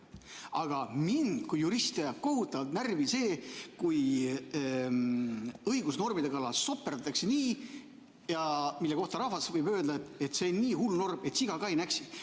Aga mind kui juristi ajab kohutavalt närvi see, kui õigusnormide kallal soperdatakse, nii nagu rahvas võib öelda, et see on nii hull norm, et siga ka ei näksi.